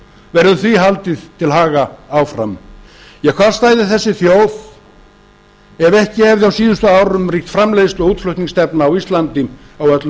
verður því haldið til haga áfram hvar stæði þessi þjóð ef ekki hefði á síðustu árum ríkt framleiðslu og útflutningsstefna á íslandi á öllum